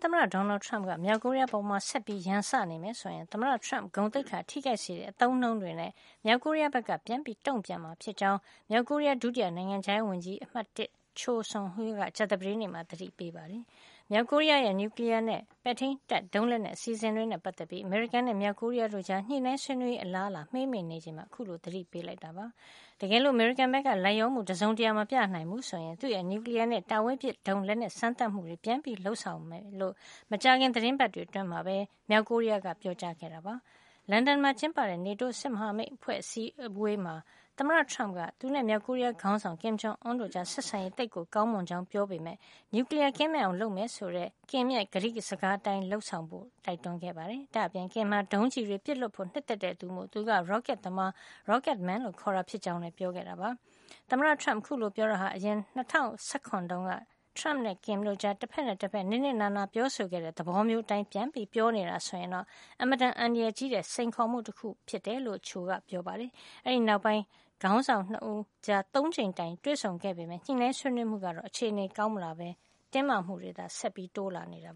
သမ္မတ Donald Trump က မြောက်ကိုရီးယား အပေါ်ဆက်ပြီးရန်စနေမယ်ဆိုရင် သမ္မတ Trump ဂုဏ်သိက္ခာထိခိုက်စေတဲ့ အသုံးအနှုန်းတွေနဲ့ မြောက်ကိုရီးယားဘက်က ပြန်လည်တုန့်ပြန်မှာ ဖြစ်ကြောင်း မြောက်ကိုရီးယား ဒုတိယနိုင်ငံခြားရေးဝန်ကြီး (၁) Choe Son Hui က ကြာသပတေးနေ့မှာ သတိပေးလိုက်ပါတယ်။ မြောက်ကိုရီးယားရဲ့ နျူကလီယားနဲ့ ပဲ့ထိန်းတပ်ဒုံးလက်နက် အစီစဉ်တွေနဲ့ ပတ်သက်ပြီး အမေရိကန်နဲ့ မြောက်ကိုရီးယားတို့ကြား ညှိနှိုင်း ဆွေးနွေးရေး အလားအလာ မှေးမှိန်နေချိန်မှာ အခုလိုသတိပေးစကား ပြောလိုက်တာ ဖြစ်ပါတယ်။ တကယ်လို့ အမေရိကန်ဘက်က လိုက်လျောမှုတစုံတရာ မပြနိုင်ဘူးဆိုရင် သူ့ရဲ့ နျူကလီယားနဲ့ တာဝေးပစ်ဒုံးလက်နက် စမ်းသပ်မှုတွေ ပြန်လည်လုပ်ဆောင်မှာ ဖြစ်ကြောင်း မကြာခင် သီတင်းပတ်တွေ အတွင်းမှာပဲ မြောက်ကိုရီးယားက ပြောခဲ့တာပါ။ လန်ဒန်မှာ ကျင်းပတဲ့ NATO စစ်မဟာမိတ်အဖွဲ့ အစည်းအဝေးမှာ သမ္မတ Trump က သူနဲ့ မြောက်ကိုရီးယား ခေါင်းဆောင် Kim Jong Un တို့ကြား ဆက်ဆံရေးဟာ သိပ်ကို ကောင်းမွန်နေကြောင်း ပြောခဲ့ပေမယ့် နျူကလီယားကင်းမဲ့အောင် လုပ်မယ်ဆိုတဲ့ Kim ရဲ့ ကတိစကားအတိုင်းတော့ လုပ်ဆောင်ဖို့ တိုက်တွန်းခဲ့ပါတယ်။ ဒါ့အပြင် Kim ဟာ ဒုံးကျည်တွေ ပစ်လွှတ်ဖို့နှစ်သက်တဲ့ သူမို့ သူက ရော့ကက်သမား Rocket man လို့ ခေါ်တာ ဖြစ်ကြောင်းလည်း ပြောခဲ့တာပါ။ သမ္မတ Trump အခုလို ပြောတာဟာ အရင် ၂၀၁၇ ခုနှစ်တုန်းက Kim နဲ့ Trump တို့ကြား တဖက်နဲ့တဖက် နစ်နစ်နာနာ ပြောဆိုခဲ့တဲ့ သဘောမျိုးအတိုင်း ပြန်ပြောနေတာ ဆိုရင်တော့ အင်မတန်အန္တရာယ်ကြီးတဲ့ စိန်ခေါ်မှု တခုဖြစ်နေတယ်လို့လည်း Choe က ပြောပါတယ်။ အဲဒီနောက်ပိုင်းမှာ ခေါင်းဆောင် ၂ ဦးကြား ၃ ကြိမ်တိုင်တိုင် တွေ့ဆုံခဲ့ကြပေမယ့် ညှိနှိုင်းဆွေးနွေးမှုတွေ ကတော့ အခြေနေကောင်းမလာ တဲ့အပြင် တင်းမာမှုတွေ ဆက်ပြီး တိုးလာနေတာ